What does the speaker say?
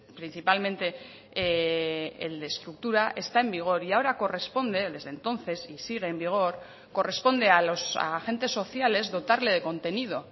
principalmente el de estructura está en vigor y ahora corresponde desde entonces y sigue en vigor corresponde a los agentes sociales dotarle de contenido